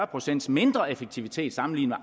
procent mindre effektivitet sammenlignet